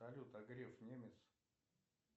салют а греф немец